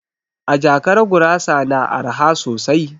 A jakara gurasa na araha sosai